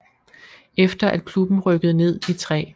Efter at klubben rykkede ned i 3